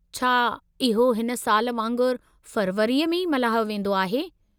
छा इहो हिन साल वांगुरु फ़रवरीअ में ई मल्हायो वेंदो आहे?